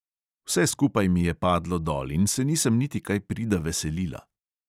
Vse skupaj mi je padlo dol in se nisem niti kaj prida veselila.